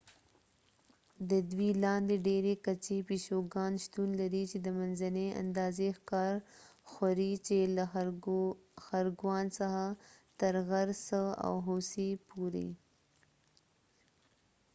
د دوی لاندې ډیرې کچې پیشوګان شتون لري چې د منځنۍ اندازې ښکار خوري چې له خرګوان څخه تر غرڅه او هوسۍ پورې